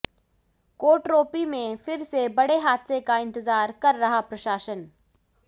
कोटरोपी में फिर से बड़े हादसे का इंतजार कर रहा प्रशासन